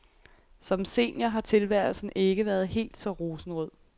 Som senior har tilværelsen ikke været hel så rosenrød.